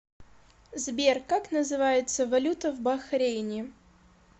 сбер как называется валюта в бахрейне